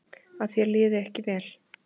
Að þér liði ekki vel.